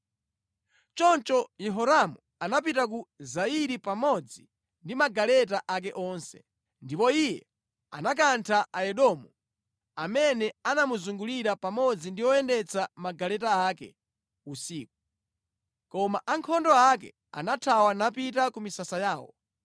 Choncho Yehoramu anapita ku Zairi pamodzi ndi magaleta ake onse. Ndipo iye anakantha Aedomu amene anamuzungulira pamodzi ndi oyendetsa magaleta ake usiku. Koma ankhondo ake anathawa napita ku misasa yawo.